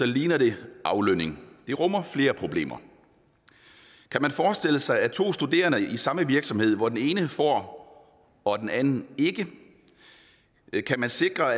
ligner det aflønning det rummer flere problemer kan man forestille sig to studerende i samme virksomhed hvor den ene får og den anden ikke kan man sikre